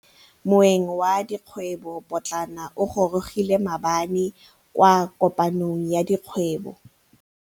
Moêng wa dikgwêbô pôtlana o gorogile maabane kwa kopanong ya dikgwêbô.